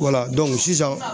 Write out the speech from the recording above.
Wala sisan